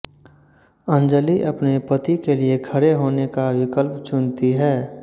अंजली अपने पति के लिए खड़े होने का विकल्प चुनती है